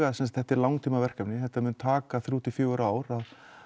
þetta er langtíma verkefni þetta mun taka þrjú til fjögur ár að